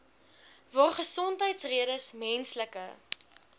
waar gesondheidsredes menslike